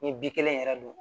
Ni bi kelen yɛrɛ don